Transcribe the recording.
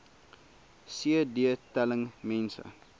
cd telling mense